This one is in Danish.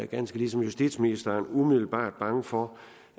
ganske ligesom justitsministeren umiddelbart er bange for